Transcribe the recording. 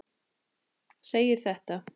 segir þetta